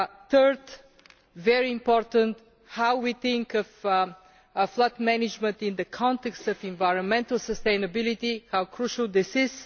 Thirdly, very important, how we think of flood management in the context of environmental sustainability, and how crucial this is.